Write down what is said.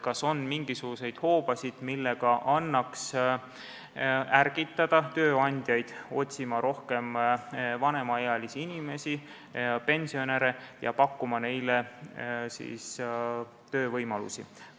Kas on mingisuguseid hoobasid, millega annaks ärgitada tööandjaid otsima rohkem vanemaealisi inimesi, pensionäre, ja pakkuma neile töövõimalusi?